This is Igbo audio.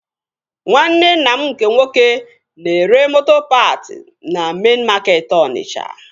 Nwanne nna m nke nwoke na-ere moto paat na mein makeetị Onitsha